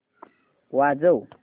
वाजव